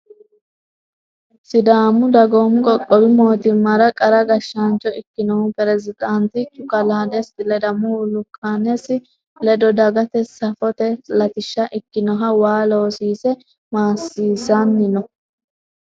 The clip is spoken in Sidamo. Sidaamu dagoomu qoqqowi mootimmara qara gashshaancho ikkinohu Peresidaatichu kalaa Desti ledamohu lukkanesi ledo dagate safote latishsha ikkinoha waa loosiise maasisanni no.